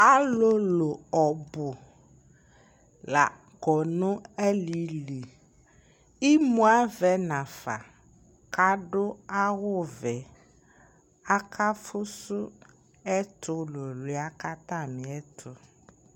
Alʋlʋ ɔbʋ la kɔ nʋ alili ; imu avɛ nafa k'adʋ awʋvɛ Aka fʋsʋ ɛtʋlʋlʋɩa k'atamɩɛtʋ